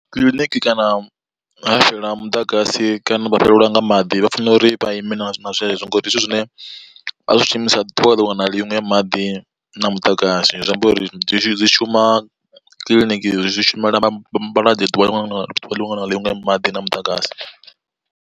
Kiḽiniki kana ha fhela muḓagasi kana vha fhelelwa nga maḓi vha fanela uri vha ime na zwezwo ngauri ndi zwithu zwine vha zwi shumisa ḓuvha liṅwe na liṅwe maḓi na muḓagasi. Zwi amba uri zwi shuma kiḽiniki zwi shumela vhalwadze ḓuvha liṅwe na liṅwe na liṅwe maḓi na muḓagasi.